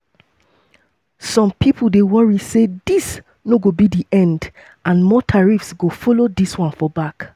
some pipo dey worry say dis no go be di end and more tariffs go follow dis one for back.